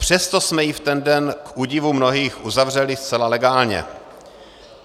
Přesto jsme ji v ten den k údivu mnohých uzavřeli zcela legálně.